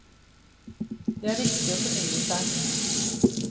Det er viktig å fornye seg.